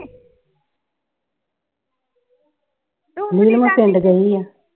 ਪਿੰਡ ਗਈ ਹੋਈ ਆ।